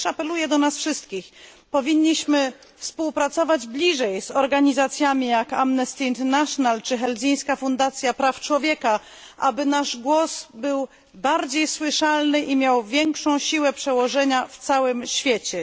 Apeluję też do nas wszystkich powinniśmy współpracować bliżej z organizacjami jak Amnesty International czy Helsińska Fundacja Praw Człowieka, aby nasz głos był bardziej słyszalny i miał większą siłę przełożenia w całym świecie.